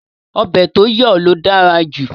Ọbẹ̀ tó yọ̀ ló dára jù